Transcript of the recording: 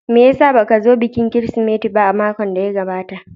Me ya sa ba ka zo bikin Kirsimeti ba a makon da ya gabata?